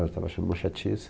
Eu estava achando uma chatice.